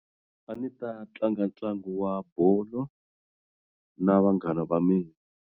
A ni ta tlanga ntlangu wa bolo na vanghana va mina.